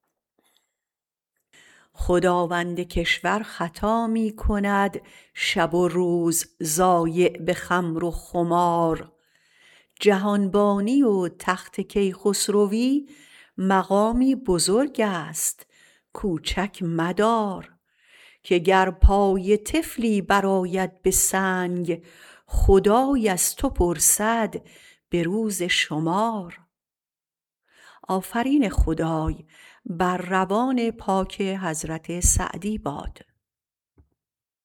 خداوند کشور خطا می کند شب و روز ضایع به خمر و خمار جهانبانی و تخت کیخسروی مقامی بزرگست کوچک مدار که گر پای طفلی برآید به سنگ خدای از تو پرسد به روز شمار